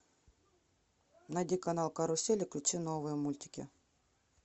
найди канал карусель и включи новые мультики